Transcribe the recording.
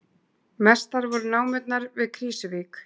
Mestar voru námurnar við Krýsuvík